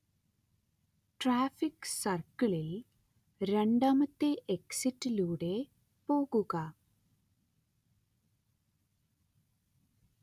traffic സർക്കിളിൽ രണ്ടാമത്തെ എക്സിറ്റിലൂടെ പോകുക